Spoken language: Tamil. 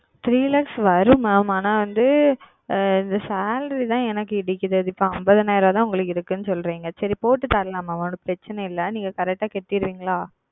Three Lakhs வரும் Mam ஆனால் வந்து இந்த Salary தான் எனக்கு இடிக்கிறது அது இப்பொழுது ஐம்பதாயிரம் தான் இருக்கிறது என்று சொல்லுகிறீர்கள் சரி போட்டு தரலாம் Mam பிரச்சனை இல்லை நீங்கள் Correct செலுத்தி விடுவீர்களா